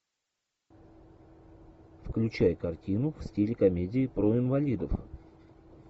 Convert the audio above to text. включай картину в стиле комедии про инвалидов